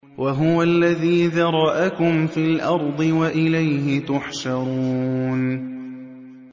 وَهُوَ الَّذِي ذَرَأَكُمْ فِي الْأَرْضِ وَإِلَيْهِ تُحْشَرُونَ